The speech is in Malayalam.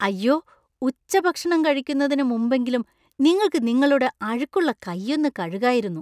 അയ്യോ! ഉച്ചഭക്ഷണം കഴിക്കുന്നതിന് മുമ്പെങ്കിലും നിങ്ങൾക്ക് നിങ്ങളുടെ അഴുക്കുള്ള കൈയൊന്നു കഴുകായിരുന്നു.